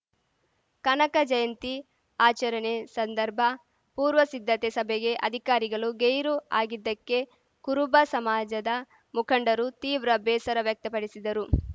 ಕನಕ ಜಯಂತಿ ಆಚರಣೆ ಸಂದರ್ಭ ಪೂರ್ವ ಸಿದ್ಧತಾ ಸಭೆಗೆ ಅಧಿಕಾರಿಗಳು ಗೈರು ಆಗಿದ್ದಕ್ಕೆ ಕುರುಬ ಸಮಾಜದ ಮುಖಂಡರು ತೀವ್ರ ಬೇಸರ ವ್ಯಕ್ತಪಡಿಸಿದರು